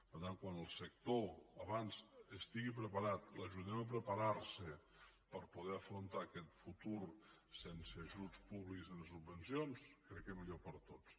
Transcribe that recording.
per tant com més aviat el sector estigui preparat l’ajudem a preparar se per poder afrontar aquest futur sense ajuts públics en les subvencions crec que millor per a tots